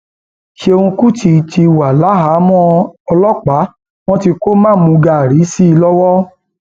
ṣéun kùtì ti wà láhàámọ ọlọpàá wọn tí kò mamúgaàrí sí i lọwọ